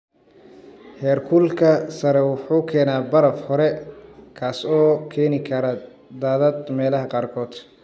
Heerkulka sare wuxuu keenaa baraf hore, kaas oo keeni kara daadad meelaha qaarkood.